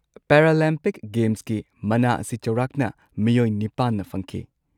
Paralympic ꯒꯦꯝꯁꯀꯤ ꯃꯅꯥ ꯑꯁꯤ ꯆꯥꯎꯔꯥꯛꯅ ꯃꯤꯑꯣꯏ ꯸ꯅ ꯐꯪꯈꯤ꯫